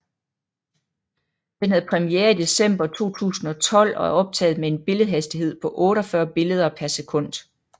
Den havde premiere i december 2012 og er optaget med en billedhastighed på 48 billeder per sekund